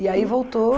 E aí voltou?